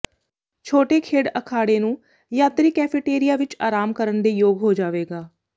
ਛੋਟੇ ਖੇਡ ਅਖਾੜੇ ਨੂੰ ਯਾਤਰੀ ਕੈਫੇਟੇਰੀਆ ਵਿਚ ਆਰਾਮ ਕਰਨ ਦੇ ਯੋਗ ਹੋ ਜਾਵੇਗਾ